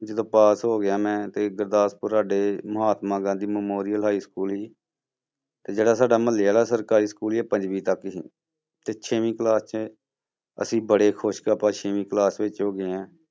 ਜਦੋਂ ਪਾਸ ਹੋ ਗਿਆ ਮੈਂ ਤੇ ਗੁਰਦਾਸਪੁਰ ਸਾਡੇ Mahatma Gandhi memorial high school ਸੀ ਤੇ ਜਿਹੜਾ ਸਾਡਾ ਮੁਹੱਲੇ ਵਾਲਾ ਸਰਕਾਰੀ school ਸੀ ਇਹ ਪੰਜਵੀਂ ਤੱਕ ਸੀ ਤੇ ਛੇਵੀਂ class 'ਚ ਅਸੀਂ ਬੜੇ ਖ਼ੁਸ਼ ਕਿ ਆਪਾਂ ਛੇਵੀਂ class ਵਿੱਚ ਹੋ ਗਏ ਹਾਂ।